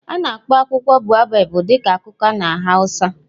A na-akpọ akwụkwọ baobab dị ka kuka na hausa.